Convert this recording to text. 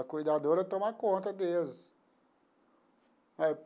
A cuidadora toma conta deles eh.